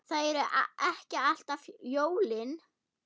Það eru ekki alltaf jólin.